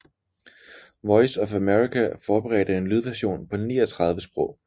Voice of America forberedte en lydversion på 39 sprog